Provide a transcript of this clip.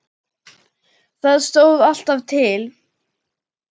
Það stóð alltaf til.